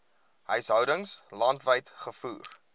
huishoudings landwyd gevoer